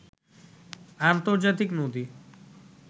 আর্ন্তজাতিক নদী